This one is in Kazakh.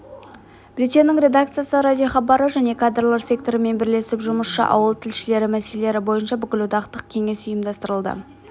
бюллетеньнің редакциясы радиохабары және кадрлар секторымен бірлесіп жұмысшы-ауыл тілшілері мәселелері бойынша бүкілодақтық кеңес ұйымдастырылды